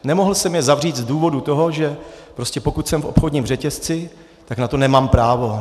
Nemohl jsem je zavřít z důvodu toho, že prostě pokud jsem v obchodním řetězci, tak na to nemám právo.